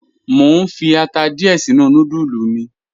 Mo n fi ata diẹ̀ sinu nùdúlù mi.